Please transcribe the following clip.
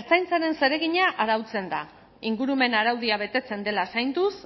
ertzaintzaren zeregina arautzen da ingurumen araudia betetzen dela zainduz